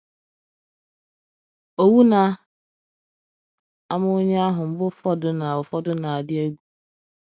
Owu na - ama onye ahụ mgbe ụfọdụ na - ụfọdụ na - adị egwu. ”